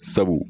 Sabu